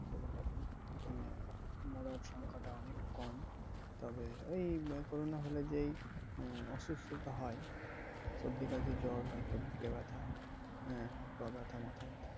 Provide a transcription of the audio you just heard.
মরার সংখ্যাটা অনেক কম। তবে ওই corona হলে যেই অসুস্থতা হয়, সর্দি, কাশি, জ্বর, হয়তো বুকে ব্যাথা, হ্যাঁ হাত পা ব্যাথা, মাথা ব্যাথা